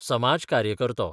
समाजकार्यकरतो